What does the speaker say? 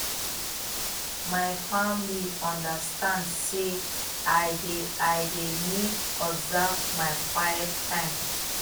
my family understand sey i dey i dey need observe my quiet time